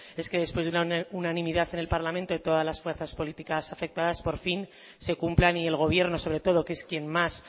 es que después de unanimidad en el parlamento y todas las fuerzas políticas afectadas por fin se cumplan y el gobierno sobre todo que es quien más